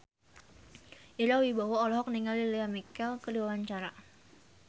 Ira Wibowo olohok ningali Lea Michele keur diwawancara